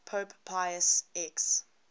pope pius x